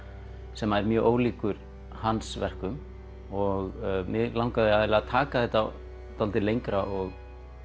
sem er mjög ólíkur hans verkum og mig langaði að taka þetta dálítið lengra og